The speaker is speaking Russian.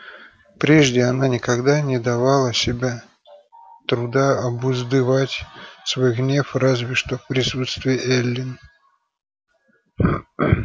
прежде она никогда не давала себе труда обуздывать свой гнев разве что в присутствии эллин